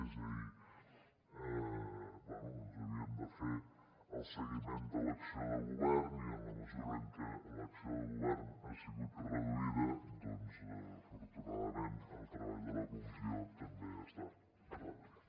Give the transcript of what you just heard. és a dir bé ens havien de fer el seguiment de l’acció de govern i en la mesura en què l’acció de govern ha sigut reduïda doncs afortunadament el treball de la comissió també ha estat reduït